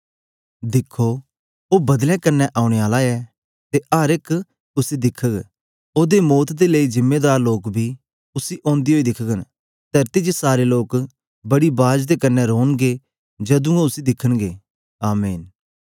दिखो ओ बदलें कन्ने ओनें आला ऐ ते अर एक उसी दिखग ओदे मौत दे लेई जिम्मेदार लोक बी उसी अन्दे ओई दिख्गन तरती च सारे लोक बड़ी बाज दे कन्ने रोनगें जदूं ओ उसी दिखन्गें आमीन